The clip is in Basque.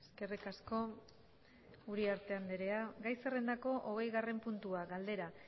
eskerrik asko uriarte andrea gai zerrendako hogeigarren puntua galdera